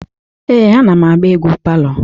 Ee, anam agba egwu palọ.